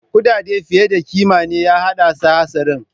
Kudade fiye da kima ne ya haddasa hatsarin.